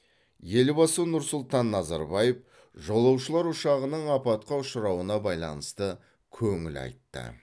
елбасы нұр сұлтан назарбаев жолаушылар ұшағының апатқа ұшырауына байланысты көңіл айтты